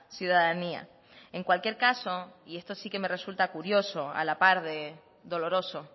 ciudadanía en cualquier caso y esto sí que me resulta curioso a la par de doloroso